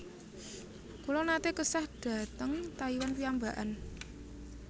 Kula nate kesah dhateng Taiwan piyambakan